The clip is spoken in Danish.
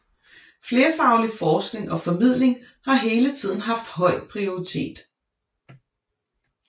Flerfaglig forskning og formidling har hele tiden havde høj prioritet